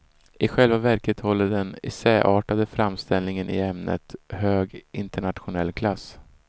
I själva verket håller den som essäartad framställning i ämnet hög internationell klass.